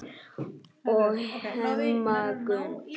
og Hemma Gunn.